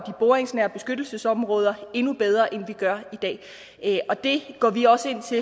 boringsnære beskyttelsesområder endnu bedre end vi gør i dag og det går vi også